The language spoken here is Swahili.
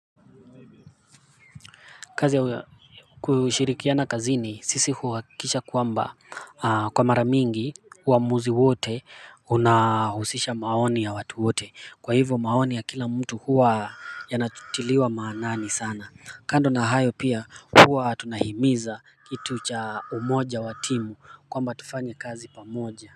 Kazi ya kushirikiana kazini sisi huhakikisha kwamba kwa mara mingi uamuzi wote unahusisha maoni ya watu wote kwa hivyo maoni ya kila mtu huwa yanatiliwa maanani sana kando na hayo pia huwa tunahimiza kitu cha umoja wa timu kwamba tufanye kazi pamoja.